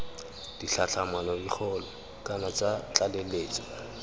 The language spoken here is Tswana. ditlhatlhamano dikgolo kana tsa tlaleletso